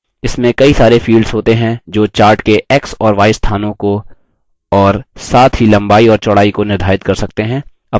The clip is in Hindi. इसमें कई सारे fields होते हैं जो chart के x और y स्थानों को और साथ ही लम्बाई और चौड़ाई को निर्धारित कर सकते हैं